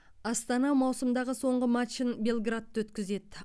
астана маусымдағы соңғы матчын белградта өткізеді